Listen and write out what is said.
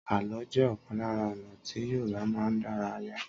Àló jẹ́ ọ̀kan lára ọ̀nà tí Yorùbá máa ń dárayá.